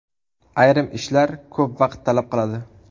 Ayrim ishlar ko‘p vaqt talab qiladi.